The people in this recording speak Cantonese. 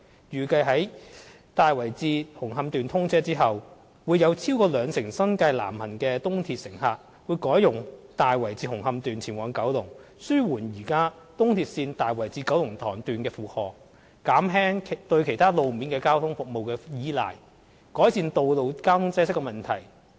預計在"大圍至紅磡段"通車後，會有超過兩成新界南行的東鐵乘客改用"大圍至紅磡段"前往九龍，紓緩現時東鐵線大圍至九龍塘段的負荷，減輕對其他路面交通服務的倚賴，改善道路交通擠塞問題。